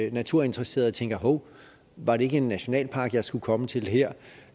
at naturinteresserede tænker hov var det ikke en nationalpark jeg skulle komme til her